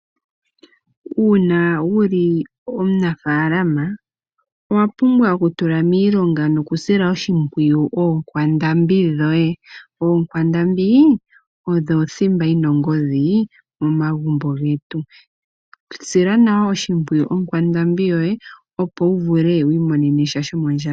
Uuna wuli omunafaalama owapumbwa oku tula miilonga nokusila oshimpwiyu oonkwandambi dhoye. Ookwandambi odho othimba yina ongodhi momagumbo getu sila nawa oshimpwiyu okwandambi yoye opo wu vule wiimonene sha shomondjato.